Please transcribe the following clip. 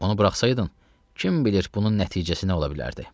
Onu buraxsaydın, kim bilir bunun nəticəsi nə ola bilərdi?